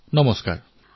প্ৰধানমন্ত্ৰীঃ নমস্কাৰ